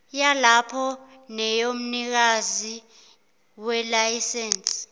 yalapho neyomnikazi welayisense